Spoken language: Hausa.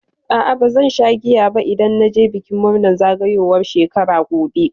A'a bazan sha giya ba idan na je bikin murnar zagayowar shekara gobe.